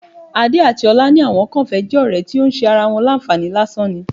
Adé àti ọlá ní àwọn kàn fẹ́ jẹ́ ọ̀rẹ́ tó ń ṣe ara wọn láǹfààní lásán ni